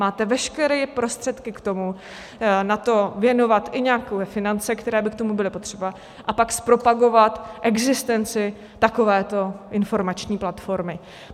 Máte veškeré prostředky k tomu na to věnovat i nějaké finance, které by k tomu byly potřeba, a pak zpropagovat existenci takovéto informační platformy.